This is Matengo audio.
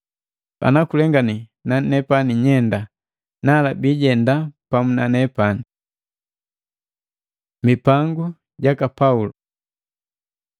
Ana kulengani nanepani nyeenda, nala biijenda pamu nanepani. Mipangu jaka Paulo